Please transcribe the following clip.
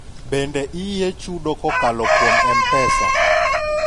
bende iyie chudo kokalo kuom mpesa?